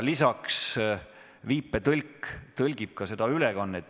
Lisaks viipekeeletõlk tõlgib seda ülekannet.